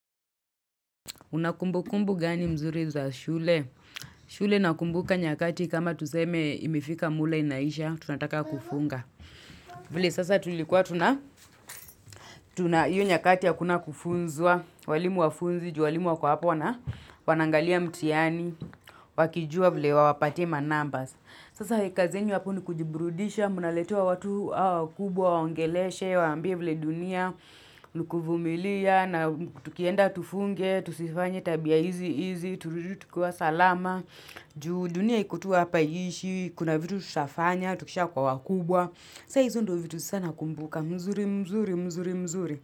Unakumbu kumbu gani mzuri za shule? Shule nakumbuka nyakati kama tuseme imifike mule inaisha, tunataka kufunga. Vile sasa tulikuwa tunayu nyakati ya kuna kufunzua, walimu wafunzi, ju walimu wako hapo, wana wanaangalia mtihani, wakijua vile wawapatie manumbers. Sasa hikazenyu hapo ni kujiburudisha, mnaletewa watu hao wakubwa, wawaongeleshe, wawaambie vile dunia, nikuvumilia na tukienda tufunge, tusifanye tabia hizi hizi, turudu tukiwa salama, juu dunia iko tu hapa haiishi, kuna vitu tutafanya, tukisha kuwa wakubwa, saa hizo ndio vitu sana nakumbuka, mzuri, mzuri,